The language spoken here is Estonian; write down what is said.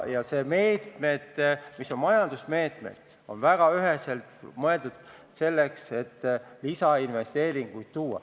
Ja need majandusmeetmed on väga üheselt mõeldud selleks, et lisainvesteeringuid tuua.